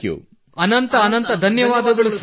ಎಲ್ಲ N C C cadets ಗಳು ಅನಂತ ಅನಂತ ಧನ್ಯವಾದಗಳು ಸರ್